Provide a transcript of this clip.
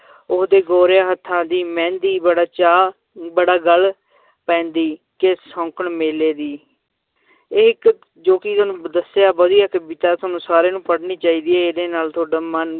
ਓਹਦੇ ਗੋਰਿਆਂ ਹੱਥਾਂ ਦੀ ਮਹਿੰਦੀ ਬੜਾ ਚਾਅ ਬੜਾ ਗੱਲ ਪੈਂਦੀ ਕਿ ਸ਼ੌਂਕਣ ਮੇਲੇ ਦੀ ਇਹ ਇੱਕ ਜੋ ਕਿ ਤੁਹਾਨੂੰ ਦੱਸਿਆ ਵਧੀਆ ਕਵਿਤਾ ਤੁਹਾਨੂੰ ਸਾਰਿਆਂ ਨੂੰ ਪੜ੍ਹਨੀ ਚਾਹੀਦੀ ਹੈ ਇਹਦੇ ਨਾਲ ਤੁਹਾਡਾ ਮਨ